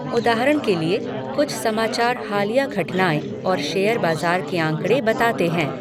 उदाहरण के लिए, कुछ समाचार हालिया घटनाएँ और शेयर बाजार के आँकड़े बताते हैं।